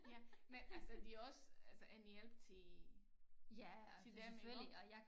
Ja men altså det også altså en hjælp til til dem iggå